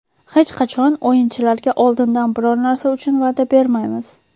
Hech qachon o‘yinchilarga oldindan biror narsa uchun va’da bermaymiz.